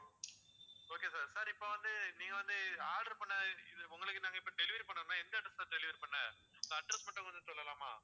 okay sir sir இப்போ வந்து நீங்க வந்து order பண்ண இது உங்களுக்கு நாங்க இப்போ delivery பண்ணோம்னா எந்த address ல sir delivery பண்ண address மட்டும் கொஞ்சம் சொல்லலாமா